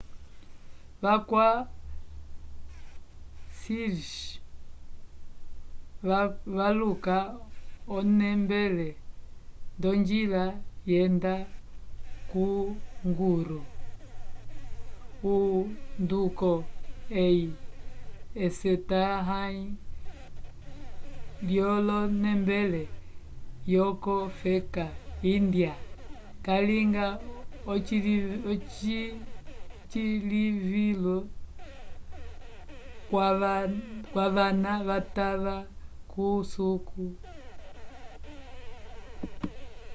va kwa sikhs valuka onembele ndojila yenda ko guru o nduko ehi esetahay lyolonembele yoko feka índya yalinga ecilivilo vwavana vatava kusuku